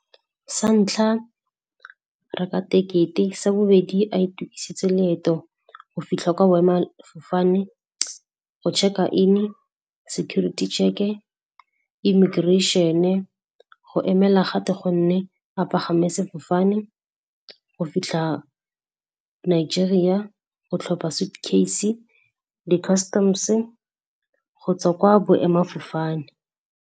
Sa ntlha, reka tekete, sa bobedi a itukisetse leeto go fitlha kwa boema-fofane, go check-a in, security check-e, immigration-e, go emela gate gonne a pagama sefofane go fitlha Nigeria go tlhopha suit case, di customs gotswa kwa boema-fofane.